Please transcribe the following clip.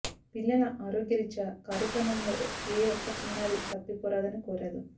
పిల్లల ఆరోగ్య రీత్యా కార్యక్రమంలో ఏ ఒక్క చిన్నారి తప్పిపోరాదని కోరారు